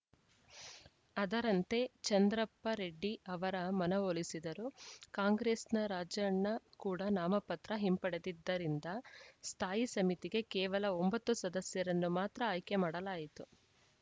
ಅದರಂತೆ ಚಂದ್ರಪ್ಪರೆಡ್ಡಿ ಅವರ ಮನವೊಲಿಸಿದರು ಕಾಂಗ್ರೆಸ್‌ನ ರಾಜಣ್ಣ ಕೂಡ ನಾಮಪತ್ರ ಹಿಂಪಡೆದಿದ್ದರಿಂದ ಸ್ಥಾಯಿ ಸಮಿತಿಗೆ ಕೇವಲ ಒಂಬತ್ತು ಸದಸ್ಯರನ್ನು ಮಾತ್ರ ಆಯ್ಕೆ ಮಾಡಲಾಯಿತು